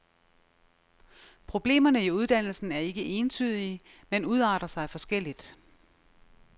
Problemerne i uddannelsen er ikke entydige, men udarter sig forskelligt.